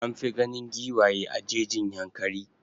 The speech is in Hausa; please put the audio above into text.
An fi ganin giwaye a jejin Yankari.